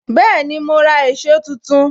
Bẹẹni, ma ra èsó tuntun